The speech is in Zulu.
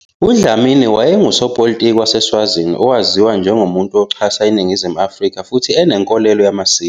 UDlamini wayengusopolitiki waseSwazini owaziwa njengomuntu oxhasa iNingizimu Afrika futhi enenkolelo yamasiko.